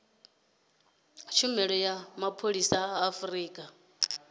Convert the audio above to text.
tshumelo ya mapholisa a afurika